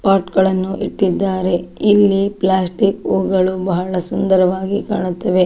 Pot ಗಳನ್ನು ಇಟ್ಟಿದ್ದಾರೆ ಇಲ್ಲಿ ಪ್ಲಾಸ್ಟಿಕ್ ಹೂಗಳು ಬಹಳ ಸುಂದರವಾಗಿ ಕಾಣುತ್ತವೆ.